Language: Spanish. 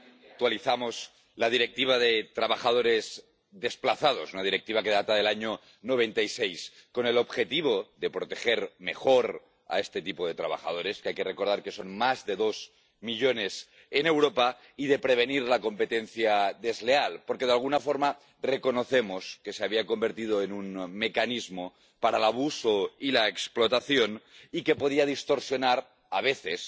Señora presidenta, actualizamos la Directiva sobre los trabajadores desplazados, una Directiva que data del año 1996, con el objetivo de proteger mejor a este tipo de trabajadores —que hay que recordar que son más de dos millones en Europa— y de prevenir la competencia desleal, porque, de alguna forma, reconocemos que se había convertido en un mecanismo para el abuso y la explotación y que podía distorsionar, a veces,